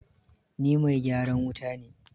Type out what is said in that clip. Ni mai gyaran wuta ne.